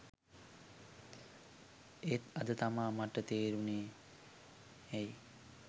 එත් අද තමා මට තේරුනේ ඇයි